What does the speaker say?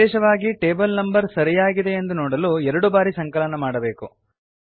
ವಿಶೇಷವಾಗಿ table number ಸರಿಯಾಗಿದೆಯೆಂದು ನೋಡಲು ಎರಡು ಬಾರಿ ಸಂಕಲನ ಮಾಡಬೇಕು